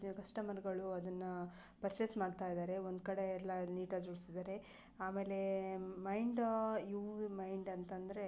ಕಸ್ಟಮರ್ಗಳು ಅದನ್ನ ಪರ್ಚೆಸ್ ಮಾಡ್ತಾ ಇದಾರೆ. ಒಂದು ಕಡೆ ಎಲ್ಲ ನೀಟಾಗಿ ಜೋಡಿದಾರೆ ಆಮೇಲೆ ಮೈಂಡ್ ಉ ವಿ ಮೈಂಡ್ ಅಂತ ಅಂದ್ರೆ --